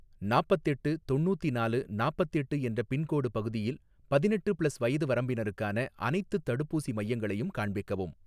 நாப்பத்தெட்டு தொண்ணூத்தினாலு நாப்பத்தெட்டு என்ற பின்கோடு பகுதியில் பதினெட்டு ப்ளஸ் வயது வரம்பினருக்கான அனைத்துத் தடுப்பூசி மையங்களையும் காண்பிக்கவும்